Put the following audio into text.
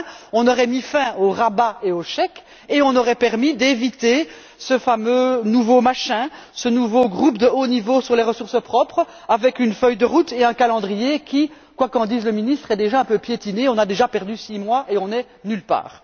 Et, enfin, on aurait mis fin aux rabais et aux chèques et on aurait permis d'éviter ce fameux nouveau machin, ce nouveau groupe de haut niveau sur les ressources propres, avec une feuille de route et un calendrier qui quoiqu'en dise le ministre est déjà un peu piétiné. On a déjà perdu six mois et on est nulle part.